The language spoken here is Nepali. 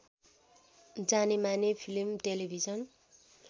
जानेमाने फिलिम टेलिभिजन